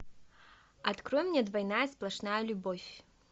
открой мне двойная сплошная любовь